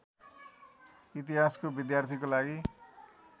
इतिहासको विद्यार्थीको लागि